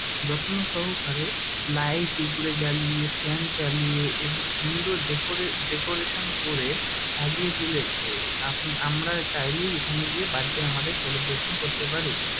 যত্ন সহকারে লাইট উপরে জ্বালিয়ে ফ্যান চালিয়ে এবং সুন্দর ডেকোরে ডেকোরেশন করে সাজিয়ে তুলেছে আপ আমরা চাইলেই এখানে গিয়ে ব্যার্থডে আমাদের সেলিব্রেশন করতে পারি।